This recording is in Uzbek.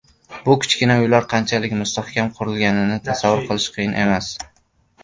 Bu kichkina uylar qanchalik mustahkam qurilganligini tasavvur qilish qiyin emas.